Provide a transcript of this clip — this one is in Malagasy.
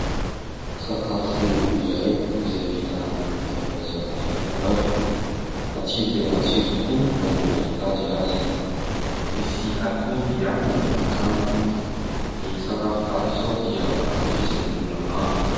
Sakafo iray izay vita amin'ny varimbazaha lavalava, matsiro dia matsiro tokoa na ny mahita azy aza, misy atody ihany miaraka aminy. Ny sakafo tahaka izao dia ankafizin'ny olona maro.